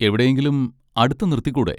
എവിടെയെങ്കിലും അടുത്ത് നിർത്തിക്കൂടെ?